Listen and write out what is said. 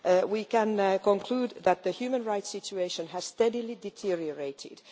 We can conclude that the human rights situation has steadily deteriorated.